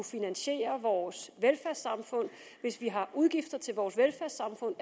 finansiere vores velfærdssamfund hvis vi har udgifter til vores velfærdssamfund